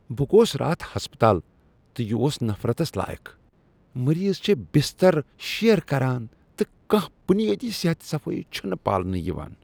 بہٕ گوس راتھ ہسپتال تہٕ یہ اوس نفرتس لایق ۔ مریض چھ بستر شییر کران تہٕ کانٛہہ بنیٲدی صحت صفٲیی چھنہٕ پالنہٕ یوان۔